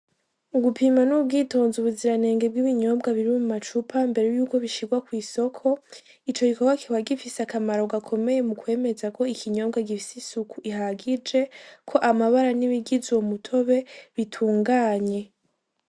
Ugupima n'ubwitonzi ubuziranenge bw'ibinyobwa biri mu macupa imbere y'uko bishirwa kw'isoko. Ico gikorwa kikaba gifise akamaro gakomeye mu kwemeza ko ikinyobwa gifise isuku ihagije, ko amabara n'ibigize uyo mutobe bitunganye.